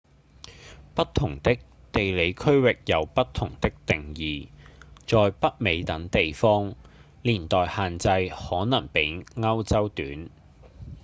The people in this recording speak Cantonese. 不同的地理區域有不同的定義在北美等地方年代限制可能比歐洲短